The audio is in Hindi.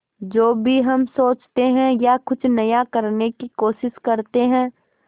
जो भी हम सोचते हैं या कुछ नया करने की कोशिश करते हैं